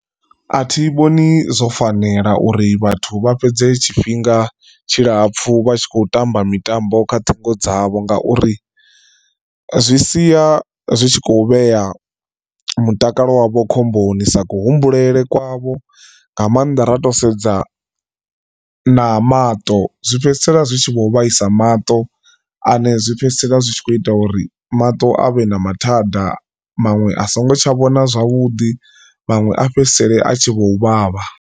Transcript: A thi vhoni zwo fanela uri vhathu vha fhedze tshifhinga tshilapfhu vha tshi khou tamba mitambo kha ṱhingo dzavho ngauri, zwi sia zwi tshi khou vhea mutakalo wavho khomboni sa kuhumbulele kwavho nga maanḓa ra to sedza na maṱo zwi fhedzisela zwi tshi vho vhaisa maṱo ane zwi fhedzisela zwi tshi kho ita uri maṱo avhe na mathada maṅwe a songo tsha vhona zwavhuḓi maṅwe a fhedzisele a tshi vho uvhavha.